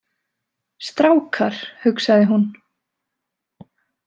Strákar, hugsaði hún.